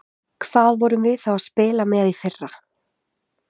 Hvað vorum við þá að spila með í fyrra?